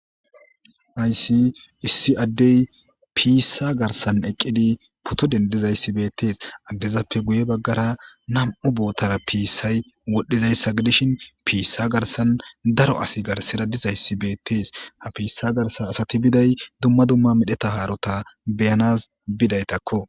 aysi issi addey piissa garsan eqqidi puto dendizayssi beettees addezappe guye baggara nam7u boottara piissay wodhdhizayssa gidishin piissa garsan daro asi garseda dizayssi beettees ha piissa garsan asati biday dumma dumma medheta haarota beyanas bidaytakko